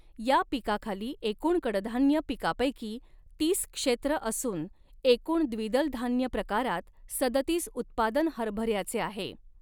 या पिकाखाली एकूण कडधान्य पिकापैकी तीस क्षेत्र असून एकूण द्विदलधान्य प्रकारात सदतीस उत्पादन हरभऱ्याचे आहे.